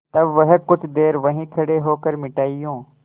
तब वह कुछ देर वहीं खड़े होकर मिठाइयों